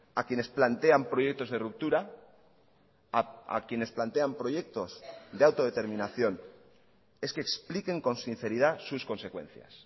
a quienes plantean proyectos de ruptura a quienes plantean proyectos de autodeterminación es que expliquen con sinceridad sus consecuencias